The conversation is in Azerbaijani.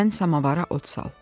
Sən samavara od sal.